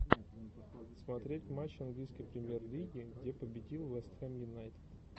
смотреть матч английской премьер лиги где победил вест хэм юнайтед